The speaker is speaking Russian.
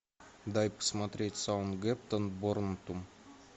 дай посмотреть саутгемптон борнмут